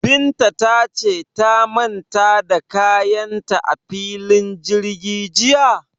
Binta ta ce ta manta da kayan ta a filin jirgi jiya?